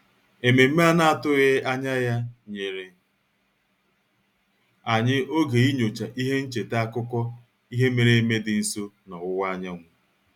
Ememe a na-atụghị anya ya nyere anyị oge inyocha ihe ncheta akụkọ ihe mere eme dị nso n'ọwụwa anyanwụ